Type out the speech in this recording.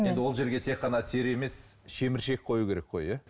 енді ол жерге тек қана тері емес шеміршек қою керек қой иә